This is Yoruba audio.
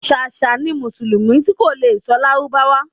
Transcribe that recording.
Ṣàṣà ni mùsùlùmí ti kò le sọ lárábáwá